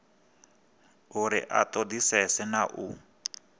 uri a ṱoḓisise na u